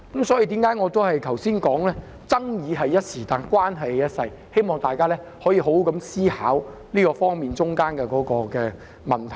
這就是我剛才說爭議只是一時，但關係是一輩子的原因，希望大家可以好好思考當中這方面的問題。